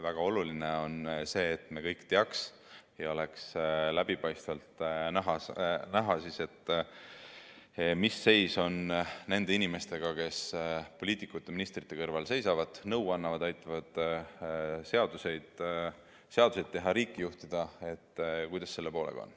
Väga oluline on see, et me kõik teaks ja meile oleks läbipaistvalt näha, mis seis on nende inimestega, kes poliitikute-ministrite kõrval seisavad, neile nõu annavad, aitavad seadusi teha, riiki juhtida.